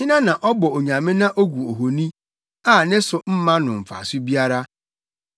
Hena na ɔbɔ onyame na ogu ohoni, a ne so mma no mfaso biara?